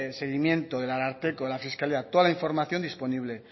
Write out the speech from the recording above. seguimiento del ararteko de la fiscalía toda la información disponible